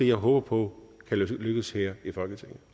jeg håber på vil lykkes her i folketinget